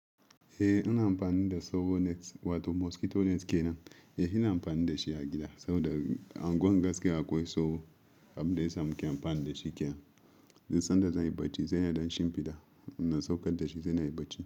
Eh ina amfani da sow nets wato mosquito nets kenan. Eh ina amfani da shi a gida saboda unguwar gaskiya akwai sauro, abin da ya sa muke amfani da shi kenan. Duk san da zai yi bacci zai yi don shimfiɗa, idan na saukar da shi zai yi bacci.